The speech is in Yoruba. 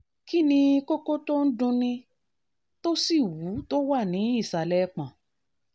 kí ni kókó tó ń dunni dunni tó sì wú tó wà ní ìsàlẹ̀ ẹpọ̀n?